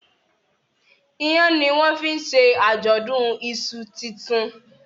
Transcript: Iyán ní wón fín ṣe ajọdun iṣu tintun